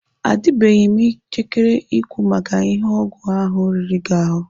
Adịbeghị m njikere ikwu maka ihe ọgwụ ahụ riri gị ahụ.